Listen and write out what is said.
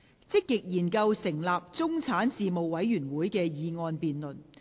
"積極研究成立中產事務委員會"的議案辯論。